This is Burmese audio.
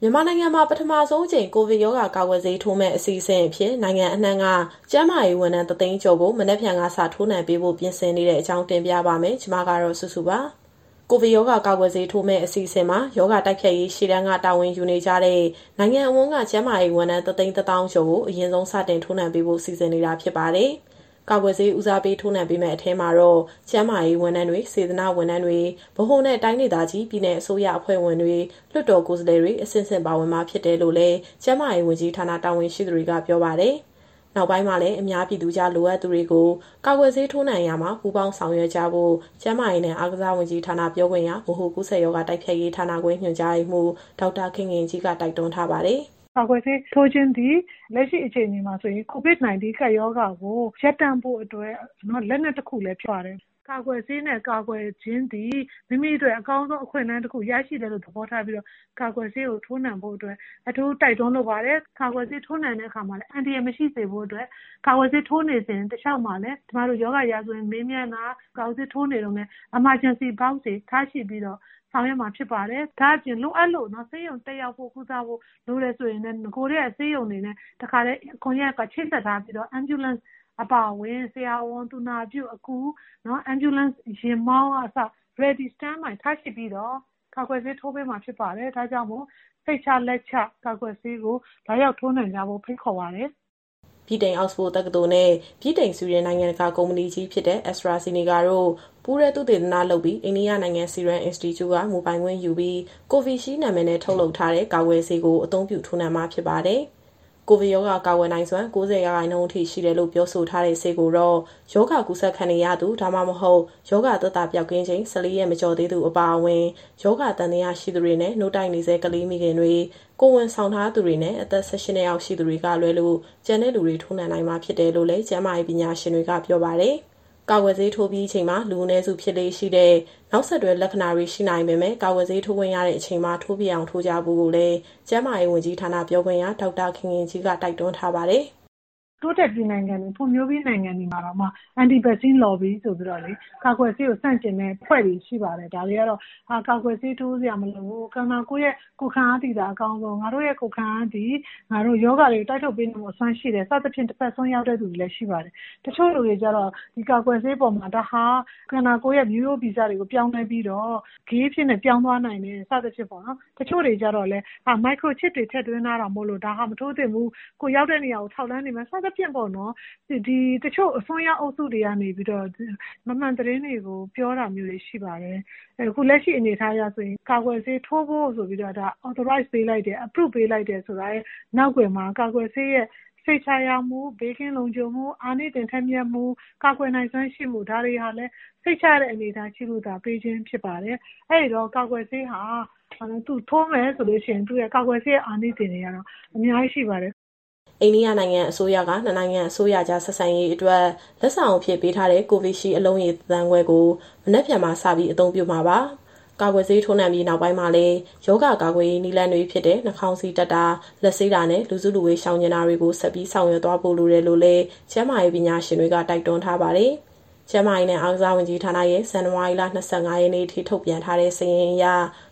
မြန်မာနိုင်ငံမှာ ပထမဆုံးအကြိမ် ကိုဗစ်ရောဂါ ကာကွယ်ဆေးထိုးမယ့် အစီအစဉ်အဖြစ် နိုင်ငံအနှံ့က ကျန်းမာရေးဝန်ထမ်း ၁၀၀,၀၀၀ ကျော်ကို မနက်ဖြန်ကစ ထိုးနှံပေးဖို့ ပြင်ဆင်နေတဲ့အကြောင်း တင်ပြပါမယ်။ ဗွီအိုအေမြန်မာပိုင်း သတင်းထောက် မစုစုက သတင်းပေးပို့ထားပါတယ်။ ကိုဗစ်ရောဂါ ကာကွယ်ဆေးထိုးမယ့် အစီအစဉ်မှာ ရောဂါတိုက်ဖျက်ရေး ရှေ့တန်းက တာဝန်ယူနေကြတဲ့ နိုင်ငံတဝန်းက ကျန်းမာရေးဝန်ထမ်း ၁၁၀,၀၀၀ ကျော်ကို အရင်ဆုံး စတင်ထိုးနှံပေးဖို့ စီစဉ်နေတာဖြစ်ပါတယ်။ ကာကွယ်ဆေး ဦးစားပေး ထိုးနှံပေးမယ့် အထဲမှာတော့ ကျန်းမာရေးဝန်ထမ်းတွေ၊ စေတနာ့ဝန်ထမ်းတွေ၊ ဗဟိုနဲ့တိုင်းဒေသကြီး၊ ပြည်နယ်အစိုးရအဖွဲ့ဝင်တွေ၊ လွှတ်တော်ကိုယ်စားလှယ်တွေ အဆင့်ဆင့် ပါဝင်မှာဖြစ်တယ်လို့လည်း ကျန်းမာရေးဝန်ကြီးဌာန တာဝန်ရှိသူတွေက ပြောပါတယ်။ နောက်ပိုင်းမှာလည်း အများပြည်သူကြား လိုအပ်သူတွေကို ကာကွယ်ဆေး ထိုးနှံရာမှာ ပူးပေါင်းဆောင်ရွက်ကြဖို့ ကျန်းမာရေးနဲ့ အားကစားဝန်ကြီးဌာန ပြောခွင့်ရ၊ ဗဟိုကူးစက်ရောဂါ တိုက်ဖျက်ရေးဌာနခွဲ ညွှန်ကြားရေးမှူး ဒေါက်တာခင်ခင်ကြီးက တိုက်တွန်းထားပါတယ်။ "ကာကွယ်ဆေးထိုးခြင်းသည် လက်ရှိအခြေအနေမှာဆိုရင် COVID- 19 ကပ်ရောဂါကို ရပ်တန့်ဖို့အတွက် လက်နက်တခုလည်းဖြစ်ပါတယ်။ ကာကွယ်ဆေးနဲ့ ကာကွယ်ခြင်းသည် မိမိအတွက်အကောင်းဆုံး အခွင့်အလမ်း တခုကို ရရှိတယ်လို့ သဘောထားပြီးတော့ ကာကွယ်ဆေးကို ထိုးနှံဖို့အတွက် အထူးတိုက်တွန်းလိုပါတယ်။ ကာကွယ်ဆေးထိုးနှံတဲ့အခါမှာလည်း အန္တရာယ်မရှိစေဖို့အတွက် ကာကွယ်ဆေးထိုးနေစဉ် တလျှောက်မှာလည်း ကျမတို့ရောဂါရာဇဝင်မေးမြန်းတာ၊ ကာကွယ်ဆေးထိုးနေတုန်းလည်း Emergency Box တွေထားရှိပြီးတော့ ဆောင်ရွက်မှာဖြစ်ပါတယ်။ ဒါ့အပြင် လိုအပ်လို့ ဆေးရုံတက်ရောက်ဖို့ ကုသဖို့လိုတယ်ဆိုရင်လည်း နဂိုကတည်းက ဆေးရုံတွေနဲ့တခါတည်း ကွန်ယက်ကချိတ်ဆက်ထားပြီးတော့ Ambulance အပါအဝင်၊ ဆရာဝန်၊ သူနာပြု၊ အကူ၊ အရေးပေါ် ကားယာဉ်မောင်းကအစ Ready & Stand by ထားရှိပြီးတော့ ကာကွယ်ဆေးထိုးပေးမှာဖြစ်ပါတယ်။ ဒါကြောင့်မို့ စိတ်ချလက်ချ ကာကွယ်ဆေးကို လာရောက်ထိုးနှံကြဖို့ ဖိတ်ခေါ်ပါတယ်။" ဗြိတိန်အောက်စ်ဖို့ တက္ကသိုလ်နဲ့ ဗြိတိန်-ဆွီဒင် နိုင်ငံတကာ ကုမ္ပဏီကြီးဖြစ်တဲ့ AstraZeneca တို့ ပူးတွဲသုတေသနလုပ်ပြီး အိန္ဒိယနိုင်ငံ Serum Institue က မူပိုင်ခွင့်ယူပြီး Covishield နာမည်နဲ့ ထုတ်တဲ့ ကာကွယ်ဆေးကို အသုံးပြု ထိုးနှံပေးမှာ ဖြစ်ပါတယ်။ ကိုဗစ်ရောဂါ ကာကွယ်နိုင်စွမ်း ၉၀ ရာခိုင်နှုန်းအထိရှိတယ်လို့ ပြောဆိုထားတဲ့ ဆေးကိုတော့ ရောဂါကူးစက်ခံနေရသူ ဒါမှမဟုတ် ရောဂါသက်သာ ပျောက်ကင်းချိန် ၁၄ ရက်မကျော်သေးသူ အပါအဝင် ရောဂါသံသယရှိသူတွေနဲ့ နို့တိုက်နေဆဲ ကလေးမိခင်တွေ၊ ကိုယ်ဝန်ဆောင်ထားသူတွေနဲ့ အသက် ၁၈ နှစ်အောက်ရှိသူတွေက လွဲလို့ ကျန်တဲ့လူတွေ ထိုးနှံနိုင်မှာ ဖြစ်တယ်လို့လည်း ကျန်းမာရေး ပညာရှင်တွေက ပြောပါတယ်။ ကာကွယ်ဆေးထိုးပြီးချိန်မှာ လူအနည်းစုဖြစ်လေ့ရှိတဲ့ နောက်ဆက်တွဲ လက္ခဏာတွေ ရှိနိုင်ပေမဲ့ ကာကွယ်ဆေး ထိုးခွင့်ရတဲ့ အချိန်မှာ ထိုးဖြစ်အောင် ထိုးကြဖို့လည်း ကျန်းမာရေးဝန်ကြီးဌာနပြောခွင့်ရ ဒေါက်တာခင်ခင်ကြီးက တိုက်တွန်းထားပါတယ်။ "တိုးတက်ပြီးနိုင်ငံတွေ၊ ဖွံ့ဖြိုးပြီးနိုင်ငံတွေမှာတောင်မှ Anti-Vaccine Lobby ဆိုပြီးတော့လေ ကာကွယ်ဆေးကို ဆန့်ကျင်မယ့် အဖွဲ့တွေရှိပါတယ်။ ဒါတွေကတော့ ကာကွယ်ဆေးထိုးစရာမလိုဘူး၊ ခန္ဓာကိုယ်ရဲ့ ကိုယ်ခံအားသည်သာ အကောင်းဆုံး၊ ငါတို့ရဲ့ ကိုယ်ခံအားသည် ငါတို့ရောဂါတွေကို တိုက်ထုတ်ပေးနိုင်ဖို့အစွမ်း ရှိတယ်။ စသဖြင့် တဘက်စွန်းရောက်တဲ့သူတွေလည်း ရှိပါတယ်။ တချို့လူတွေကျတော့ ဒီကာကွယ်ဆေးအပေါ်မှာ ဒါဟာ ခန္ဓာကိုယ်ရဲ့မျိုးရိုးဗီဇတွေကို ပြောင်းလဲပြီးတော့ Gay အဖြစ်နဲ့ပြောင်းသွားနိုင်တယ် စသဖြင့်ပေါ့နော်။ တချို့တွေကျတော့လည်း Micro Chip တွေထည့်သွင်းထားတာမို့လို့ ဒါဟာမထိုးသင့်ဘူး၊ ကိုယ်ရောက်တဲ့နေရာကို ထောက်လှမ်းနေမယ် စသဖြင့်ပေါ့နော်။ တချို့အစွန်းရောက်အုပ်စုတွေကနေပြီးတော့ မမှန်သတင်းတွေကို ပြောတာမျိုးတွေ ရှိပါတယ်။ အဲတော့ အခုလက်ရှိအနေအထားအရဆိုရင် ကာကွယ်ဆေးထိုးဖို့ဆိုပြီးတော့ တရားဝင်ခွင့်ပြုပေးလိုက်တယ်ဆိုရဲ့ နောက်ကွယ်မှာ ကာကွယ်ဆေးရဲ့စိတ်ချရမှု၊ ဘေးကင်းလုံခြုံမှု၊ အာနိသင်ထက်မြက်မှု၊ ကာကွယ်နိုင်စွမ်းရှိမှု၊ ဒါတွေကလည်း စိတ်ချရတဲ့အနေအထား ရှိလို့သာ ပေးခြင်းဖြစ်ပါတယ်။ အဲဒီတော့ ကာကွယ်ဆေးဟာ သူ့ကိုထိုးမယ်ဆိုရင် ကာကွယ်ဆေးတွေရဲ့အာနိသင်တွေဟာ အများကြီးရှိပါတယ်။" အိန္ဒိယနိုင်ငံအစိုးရက နှစ်နိုင်ငံအစိုးရကြား ဆက်ဆံရေးအတွက် လက်ဆောင်အဖြစ်ပေးထားတဲ့ Covishield အလုံးရေ ၁,၅၀၀,၀၀၀ ကို မနက်ဖြန်မှာ စပြီးအသုံးပြုမှာပါ။ ကာကွယ်ဆေးထိုးနှံပြီးနောက်ပိုင်းမှာလည်း ရောဂါကာကွယ်ရေး နည်းလမ်းတွေဖြစ်တဲ့နှာခေါင်းစည်းတပ်တာ၊ လက်ဆေးတာနဲ့ လူစုလူဝေးရှောင်ကြဉ်တာတွေကို ဆက်ပြီးဆောင်ရွက်သွားကြဖို့လိုတယ်လို့ ကျန်းမာရေးပညာရှင်တွေက တိုက်တွန်းထားပါတယ်။ ကျန်းမာရေးနဲ့ အားကစားဝန်ကြီးဌာနရဲ့ ဇန်နဝါရီလ ၂၅ ရက်နေ့အထိ ထုတ်ပြန်ထားတဲ့စာရင်းအရ